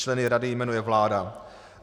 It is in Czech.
Členy rady jmenuje vláda.